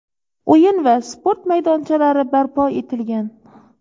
o‘yin va sport maydonchalari barpo etilgan.